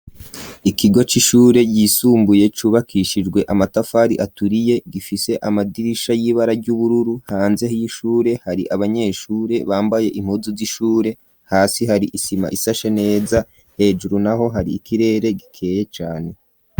Ikigo c'ishure yisumbuye cubakishijwe amatafari aturiye gifise amadirisha y'ibara ry'ubururu hanze y'ishure hari abanyeshure bambaye impuzu z'ishure hasi hari isima isashe neza hejuru naho hari ikirere gikeye cane.